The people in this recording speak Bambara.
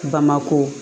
Bamakɔ